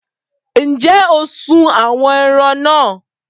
Ǹjẹ́ o sún àwọn ẹran náà?